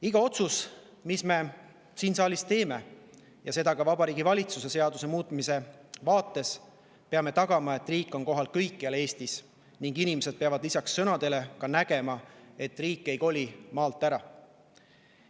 Iga otsuse puhul, mille me siin saalis teeme, ka Vabariigi Valitsuse seadust muutes, peame tagama, et riik on kohal kõikjal Eestis, ning inimesed peavad lisaks sõnadele ka nägema, et riik ei koli maalt ära.